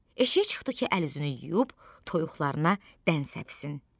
Eşiyə çıxdı ki, əl-üzünü yuyub toyuqlarına dən səpsin.